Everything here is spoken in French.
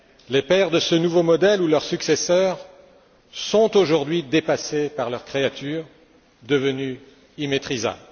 Les pères de ce nouveau modèle ou leurs successeurs sont aujourd'hui dépassés par leur créature devenue immaîtrisable.